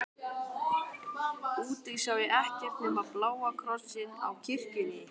Úti sá ég ekkert nema bláa krossinn á kirkjunni.